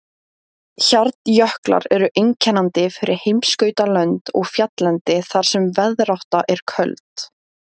Hjarnjöklar eru einkennandi fyrir heimskautalönd og fjalllendi þar sem veðrátta er köld.